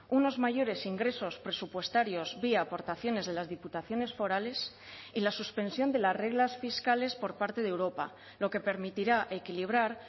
unos mayores ingresos presupuestarios vía aportaciones de las diputaciones forales y la suspensión de las reglas fiscales por parte de europa lo que permitirá equilibrar